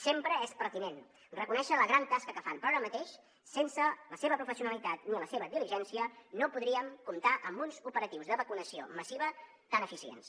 sempre és pertinent reconèixer la gran tasca que fan però ara mateix sense la seva professionalitat ni la seva diligència no podríem comptar amb uns operatius de vacunació massiva tan eficients